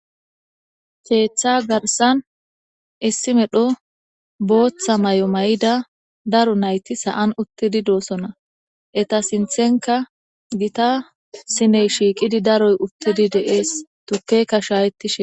Keththa garssan issi medhdho booththa maayo mayida daaro nayti sa'an uttidi dosona eeta sinththankka giita sinney shiqidi daaro uttidi de'es tuukeyka shayetishe---